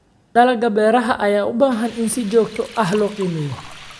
Dalagga beeraha ayaa u baahan in si joogto ah loo qiimeeyo.